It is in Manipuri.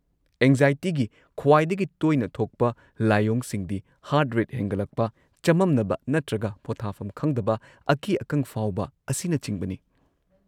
ꯑꯦꯡꯖꯥꯏꯇꯤꯒꯤ ꯈ꯭ꯋꯥꯏꯗꯒꯤ ꯇꯣꯏꯅ ꯊꯣꯛꯄ ꯂꯥꯏꯑꯣꯡꯁꯤꯡꯗꯤ ꯍꯥꯔꯠ ꯔꯦꯠ ꯍꯦꯟꯒꯠꯂꯛꯄ, ꯆꯃꯝꯅꯕ ꯅꯠꯇ꯭ꯔꯒ ꯄꯣꯊꯥꯐꯝ ꯈꯪꯗꯕ, ꯑꯀꯤ-ꯑꯈꯪ ꯐꯥꯎꯕ ꯑꯁꯤꯅꯆꯤꯡꯕꯅꯤ꯫